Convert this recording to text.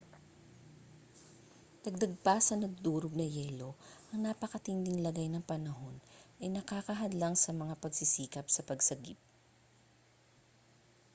dagdag pa sa nadudurog na yelo ang napakatinding lagay ng panahon ay nakakahadlang sa mga pagsisikap sa pagsagip